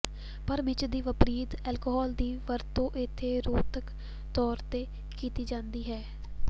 ਪਰ ਮਿਰਚ ਦੇ ਵਿਪਰੀਤ ਅਲਕੋਹਲ ਦੀ ਵਰਤੋਂ ਇੱਥੇ ਰੋਧਕ ਤੌਰ ਤੇ ਕੀਤੀ ਜਾਂਦੀ ਹੈ